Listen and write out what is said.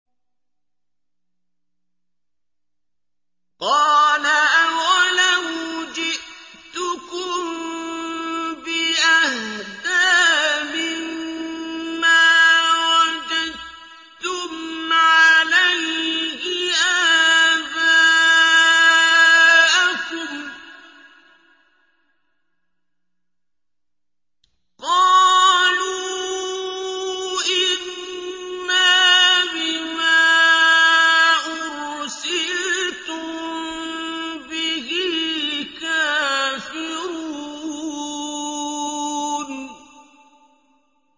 ۞ قَالَ أَوَلَوْ جِئْتُكُم بِأَهْدَىٰ مِمَّا وَجَدتُّمْ عَلَيْهِ آبَاءَكُمْ ۖ قَالُوا إِنَّا بِمَا أُرْسِلْتُم بِهِ كَافِرُونَ